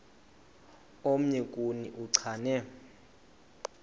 omnye kuni uchane